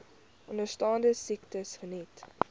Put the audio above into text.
onderstaande siektes geniet